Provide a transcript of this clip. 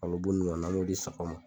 Malo bu nunnu ɲɔgɔnna an m'o di sagaw ma.